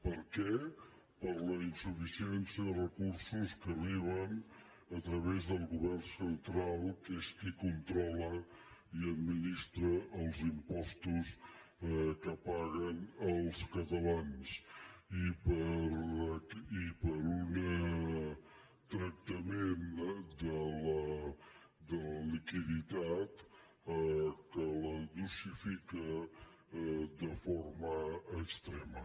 per què per la insuficiència de recursos que arriben a través del govern central que és qui controla i administra els impostos que paguen els catalans i per un tractament de la liquiditat que la dosifica de forma extrema